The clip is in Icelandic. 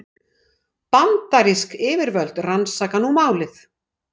Bandarísk yfirvöld rannsaka nú málið